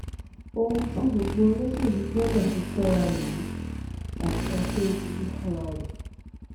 ohun tí gbogbo olóṣèlú gbọ́dọ̀ fi kóra rèé àti àkérédélọ́lù fúnra rẹ̀